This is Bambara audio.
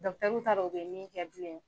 t'a dɔn u bɛ min kɛ bilen yɛrɛ.